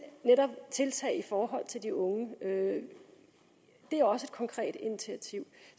tiltag i forhold til de unge det er også et konkret initiativ